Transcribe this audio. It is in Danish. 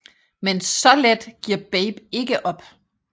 Men så let giver Babe ikke op